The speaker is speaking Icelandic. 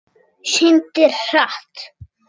Syndir hratt.